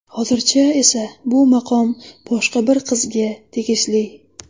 Hozircha esa bu maqom boshqa bir qizga tegishli.